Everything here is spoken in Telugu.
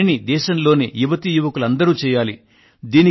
ఈ పనిని దేశంలోని యువతీ యువకులందరూ చేయాలి